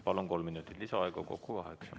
Palun, kolm minutit lisaaega, kokku kaheksa!